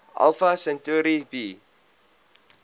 alpha centauri b